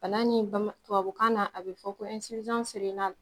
Bana nin tubabukan na a bi fɔ